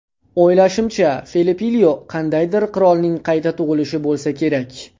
O‘ylashimcha, Felipilyo qandaydir qirolning qayta tug‘ilishi bo‘lsa kerak.